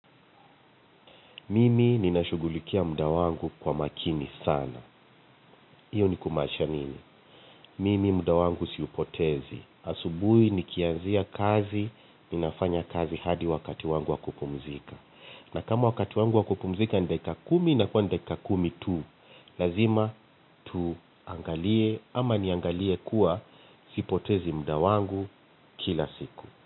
Mimi ninashughulikia mda wangu kwa makini sana. Iyo ni kumanisha nini? Mimi mda wangu siupotezi. Asubui nikianzia kazi, ninafanya kazi hadi wakati wangu wakupumzika. Na kama wakati wangu wa kupumzika ni dakika kumi inakuwa ni dakika kumi tu, lazima tuangalie ama niangalie kuwa sipotezi mda wangu kila siku.